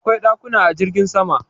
Akwai dakuna a jirgin sama